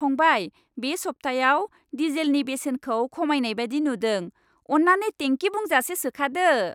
फंबाय, बे सब्थायाव डिजेलनि बेसेनखौ खमायनाय बायदि नुदों। अन्नानै टेंकि बुंजासे सोखादो।